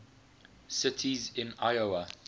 cities in iowa